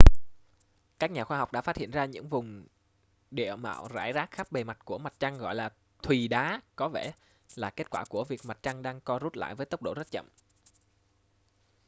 các nhà khoa học đã phát hiện ra những vùng địa mạo rải rác khắp bề mặt của mặt trăng gọi là thùy đá có vẻ là kết quả của việc mặt trăng đang co rút lại với tốc độ rất chậm